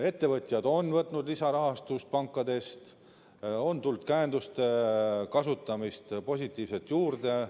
Ettevõtjad on võtnud lisarahastust pankadest, on tulnud positiivset käenduste kasutamist juurde.